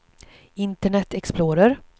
internet explorer